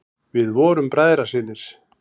Við vorum bræðrasynir.